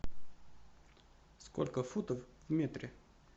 сколько футов в метре